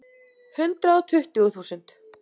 Hundrað og tuttugu þúsund.